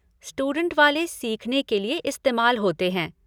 Student वाले सीखने के लिए इस्तेमाल होते हैं।